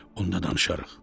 Onda danışarıq.